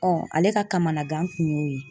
ale ka kamanagan kun y'o ye.